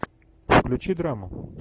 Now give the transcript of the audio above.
включи драму